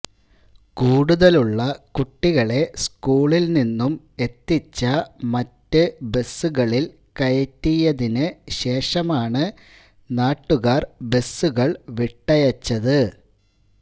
കൂടുതലുള്ള കുട്ടികളെ സ്കൂളില് നിന്നും എത്തിച്ച മറ്റ് ബസുകളില് കയറ്റിയതിന് ശേഷമാണ് നാട്ടുകാര് ബസുകള് വിട്ടയച്ചത്